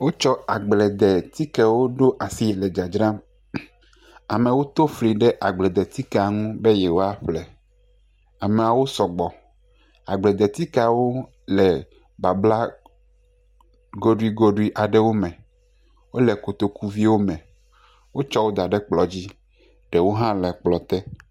Wotsɔ agbledetikewo ɖo asie le dzadzram. Amewo to fli ɖe agbledetikea nu be yewoa ƒle. Ameawo sɔ gbɔ. Agbledtikeawo le babla goɖuigoɖui aɖewo me. Wole kotokuviwo me wotsɔ da ɖe kplɔ dzi. Ɖewo hã le kplɔ te.